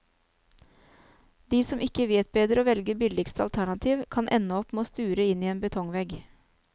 De som ikke vet bedre og velger billigste alternativ, kan ende opp med å sture inn i en betongvegg.